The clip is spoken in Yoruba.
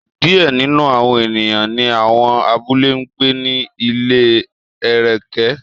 Diẹ ninu awọn eniyan ni awọn abule n gbe ni ile ẹrẹkẹ